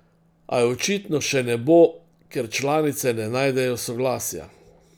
A je očitno še ne bo, ker članice ne najdejo soglasja.